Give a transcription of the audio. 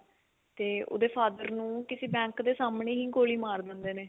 ਤੇ ਉਹਦੇ father ਨੂੰ ਕਿਸੀ ਬੈਂਕ ਦੇ ਸਾਹਮਣੇ ਹੀ ਗੋਲੀ ਮਾਰ ਦਿੰਦੇ ਨੇ